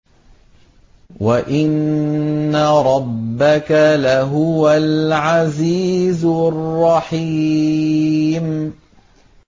وَإِنَّ رَبَّكَ لَهُوَ الْعَزِيزُ الرَّحِيمُ